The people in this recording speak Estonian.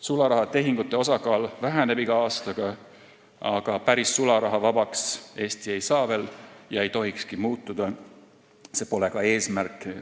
Sularahatehingute osakaal väheneb iga aastaga, aga päris sularahavabaks Eesti veel ei saa ega tohikski muutuda, see pole ka eesmärk.